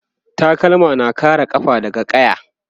takalma na kare kafa daga ƙaya